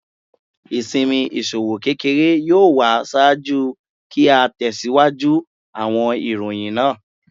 Isinmi iṣowo kekere yoo wa ṣaaju ki a tẹsiwaju awọn iroyin naa